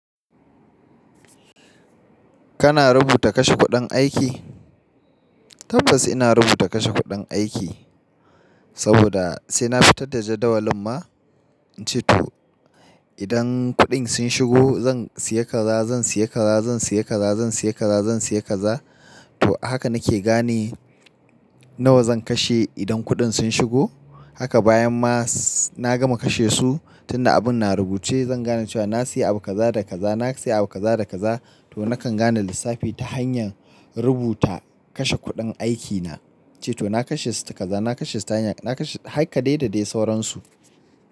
Kana rubuta kashe kuɗin aiki? Tabbas ina rubuta kashe kuɗin aiki, saboda sai na fitar da jadawalin ma. Ince to idan kuɗin sun shigo zan siya kaza, zan siya kaza, zan siya kaza, zan siya kaza, zan siya kaza. To haka nake gane nawa zan kashe idan kuɗin sun shigo. Haka bayan ma na gama kashe su, tunda abun na rubuce zan gane cewa na siya abu kaza da kaza, na siya abu kaza da kaza. To nakan gane lissafi ta hanyar rubuta kashe kuɗin aikina. Ince to na kashe sita kaza, na kashe stanyan, na kashe har kadai da dai sauransu.